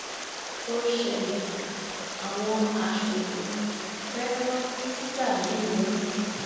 ó ṣẹlẹ àwọn aṣòfin fẹẹ ran mínísítà yìí lẹwọn